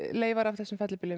leifar af þeim fellibyljum